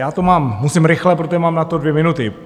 Já to mám, musím rychle, protože mám na to dvě minuty.